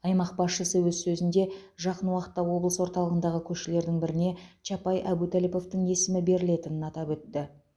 аймақ басшысы өз сөзінде жақын уақытта облыс орталығындағы көшелердің біріне чапай әбутәліповтың есімі берілетінін атап өтті